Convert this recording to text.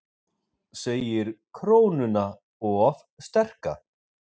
Segir krónuna of sterka